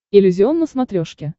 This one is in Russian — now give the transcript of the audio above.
иллюзион на смотрешке